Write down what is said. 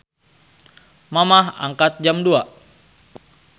Mamah angkat jam 02.00